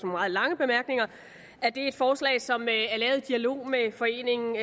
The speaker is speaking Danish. meget lange bemærkninger at det er et forslag som er lavet i dialog med foreningen